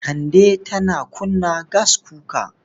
Kande tana kunna gaskuka.